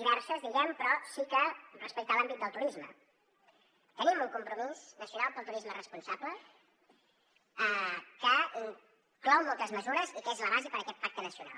diverses diguem ne però sí que respecte a l’àmbit del turisme tenim un compromís nacional pel turisme responsable que inclou moltes mesures i que és la base per a aquest pacte nacional